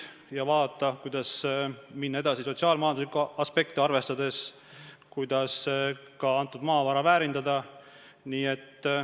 Tuleb vaadata, kuidas minna edasi sotsiaal-majanduslikke aspekte arvestades, kuidas ka antud maavara väärindada.